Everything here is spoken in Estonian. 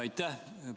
Aitäh!